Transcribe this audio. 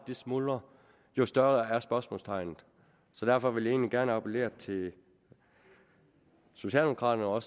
smuldrer jo større bliver spørgsmålstegnet så derfor vil jeg gerne appellere til socialdemokraterne og